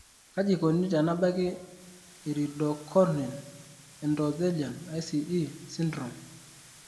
Kaji eikoni tenebaki iridocorneal endothelian (ICE) syndrome?